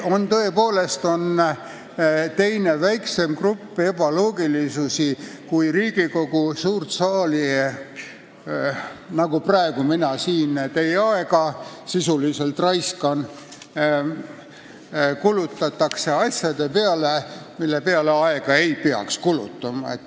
On ka teine, väiksem grupp ebaloogilisusi, st Riigikogu suurt saali kulutatakse asjade peale, mille peale aega ei peaks kulutama, nii nagu mina praegu siin sisuliselt raiskan teie aega.